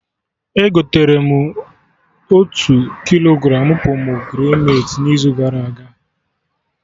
Egotere motu kilogramụ pomegranate n'izu gara aga